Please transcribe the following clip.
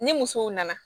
Ni musow nana